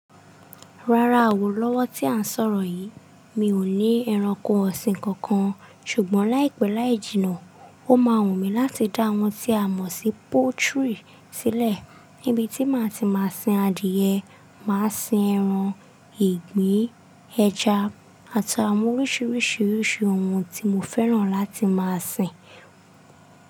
Rárá o, lọ́wọ́ tí à ń sọ̀rọ̀ yìí, mi ò ní ẹranko ọ̀sìn kankan ṣùgbọ́n láìpẹ́ láì jìnà ó máa wù mí láti dá oun tí a mọ̀ sí poultry sí lẹ̀ níbi tí màá ti máa sin adìẹ, màá sin ẹran, ìgbín, ẹja àtàwọn oríṣiríṣi irú ohun tí mo fẹ́ràn láti máa sin.